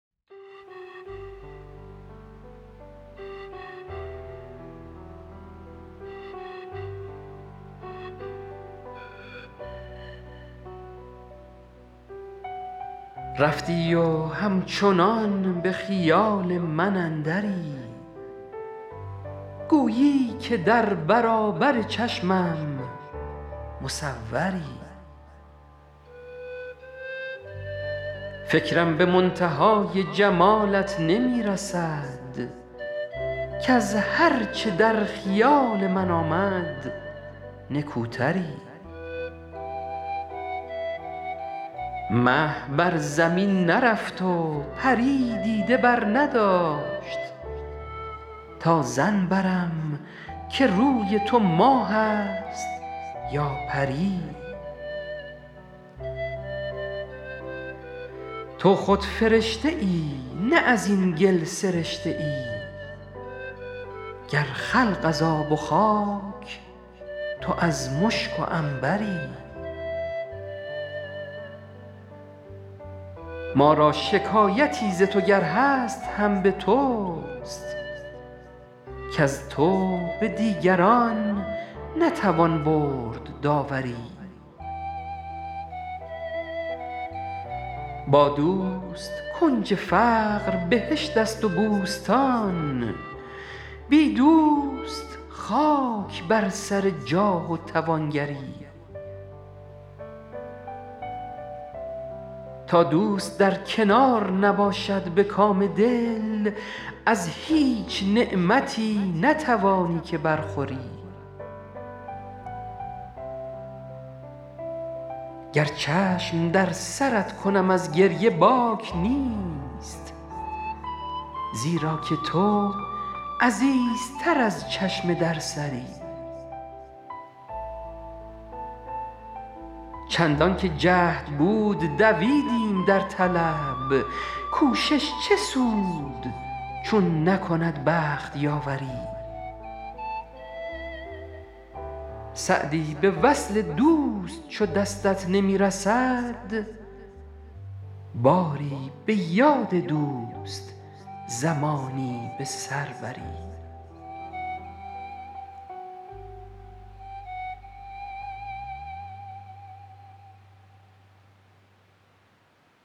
رفتی و همچنان به خیال من اندری گویی که در برابر چشمم مصوری فکرم به منتهای جمالت نمی رسد کز هر چه در خیال من آمد نکوتری مه بر زمین نرفت و پری دیده برنداشت تا ظن برم که روی تو ماه است یا پری تو خود فرشته ای نه از این گل سرشته ای گر خلق از آب و خاک تو از مشک و عنبری ما را شکایتی ز تو گر هست هم به توست کز تو به دیگران نتوان برد داوری با دوست کنج فقر بهشت است و بوستان بی دوست خاک بر سر جاه و توانگری تا دوست در کنار نباشد به کام دل از هیچ نعمتی نتوانی که برخوری گر چشم در سرت کنم از گریه باک نیست زیرا که تو عزیزتر از چشم در سری چندان که جهد بود دویدیم در طلب کوشش چه سود چون نکند بخت یاوری سعدی به وصل دوست چو دستت نمی رسد باری به یاد دوست زمانی به سر بری